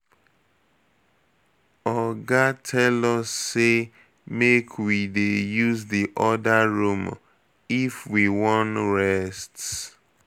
Oga tell us say make we dey use the other room if we wan rest.